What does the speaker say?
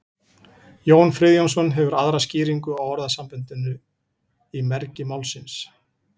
jón friðjónsson hefur aðra skýringu á orðasambandinu í mergi málsins